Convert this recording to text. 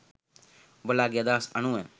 ඔබලාගෙ අදහස් අනුව